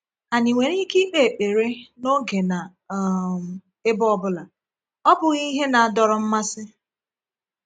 Anyị nwere ike ikpe ekpere n’oge na um ebe ọ bụla, ọ bụghị ihe na-adọrọ mmasị?